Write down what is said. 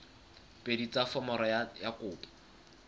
pedi tsa foromo ya kopo